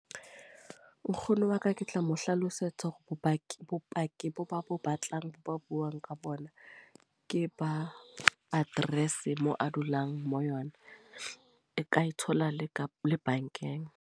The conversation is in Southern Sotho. Nkgono wa ka ke tla mo hlalosetsa hore bopaki, bopaki boo ba bo batlang bo ba buang ka bona. Ke ba address moo a dulang mo yona. E ka e thola le ka le bankeng.